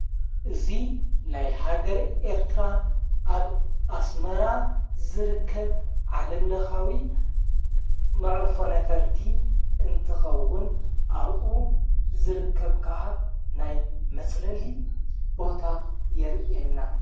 እዙይ ናይ ሃገር ኤርትራ ኣብ ኣስመራ ዝርከብ ዓለምለኻዊ መዕርፎ ነፈርቲ እንትኸውን ኣብኡ ዝርከብ ከዓ ናይ መጽለሊ ቦታ የርየና፡፡